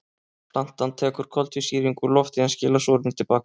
Plantan tekur koltvísýring úr lofti en skilar súrefni til baka.